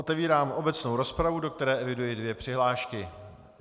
Otevírám obecnou rozpravu, do které eviduji dvě přihlášky.